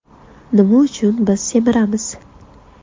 Nima uchun biz semiramiz?